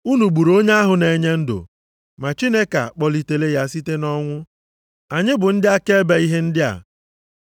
Unu gburu onye ahụ na-enye ndụ, ma Chineke akpọlitela ya site nʼọnwụ. Anyị bụ ndị akaebe ihe ndị a.